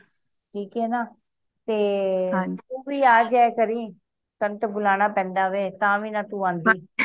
ਠੀਕ ਆਏ ਨਾ ਤੇ ਤੂੰ ਵੀ ਆ ਜਾਯਾ ਕਰੀਂ ਤੈਨੂੰ ਤੇ ਬੁਲਾਣਾ ਪੈਂਦਾ ਵੇ ਤਾ ਵੀ ਨਾ ਤੂੰ ਆਂਦੀ